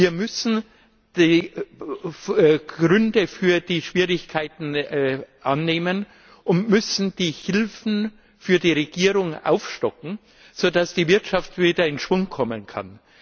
Wir müssen die Gründe für die Schwierigkeiten annehmen und müssen die Hilfen für die Regierung aufstocken, sodass die Wirtschaft wieder in Schwung kommen kann.